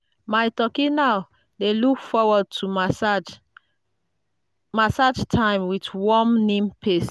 my turkey now dey look forward to massage massage time with warm neem paste.